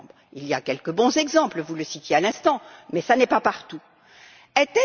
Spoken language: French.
Il y a quelques bons exemples vous les citiez à l'instant mais ce n'est pas le cas partout.